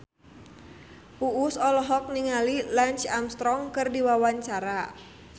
Uus olohok ningali Lance Armstrong keur diwawancara